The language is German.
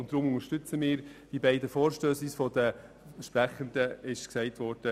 Deshalb unterstützen wir die beiden Vorstösse wie vorgeschlagen.